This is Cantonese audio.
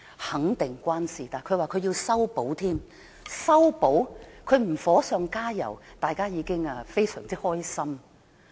肯定與她有關，她更說要修補，但她不"火上加油"，大家已感到非常開心。